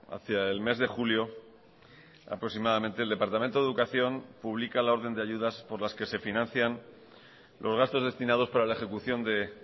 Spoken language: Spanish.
hacia el mes de julio aproximadamente el departamento de educación publica la orden de ayudas por las que se financian los gastos destinados para la ejecución de